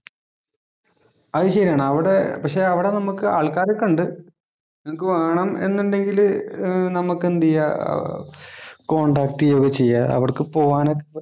അത് ശരിയാണ്. അവിടെ പക്ഷെ അവിടെ നമുക്ക് ആൾക്കാരൊക്കെ ഉണ്ട്. നിങ്ങക്ക് വേണം എന്നുണ്ടെങ്കിൽ നമുക്ക് എന്ത് ചെയ്യാം കോണ്ടാക്ട് ചെയ്യുകയോ ഒക്കെ ചെയ്യാം. അവിടേക്ക് പോകാന്